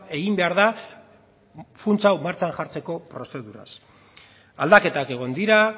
egin behar da funts hau martxan jartzeko prozeduraz aldaketak egon dira